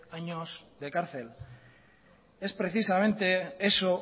años de cárcel es precisamente eso